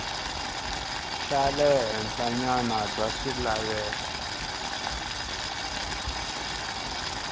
xa le henhlanyana bya swilaveko